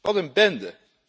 Wat een bende!